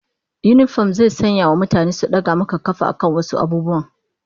Yinifom zai iya sanyawa mutane su daga maka kafa akan wasu abubuwan